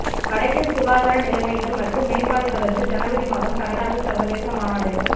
வடக்கின் சுகாதார நிலைமைகள் மற்றும் மேம்பாடு தொடர்பில் ஜனவரி மாதம் கனடாவில் சர்வதேச மாநாடு